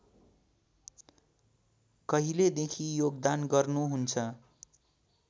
कहिलेदेखि योगदान गर्नुहुन्छ